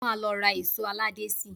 Mo máa lọ ra èṣó aládé síi